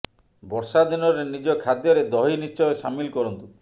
ବର୍ଷା ଦିନରେ ନିଜ ଖାଦ୍ୟରେ ଦହି ନିଶ୍ଚୟ ସାମିଲ କରନ୍ତୁ